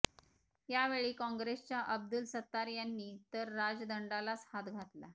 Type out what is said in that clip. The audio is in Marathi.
यावेळी काँग्रेसच्या अब्दुल सत्तार यांनी तर राजदंडालाच हात घातला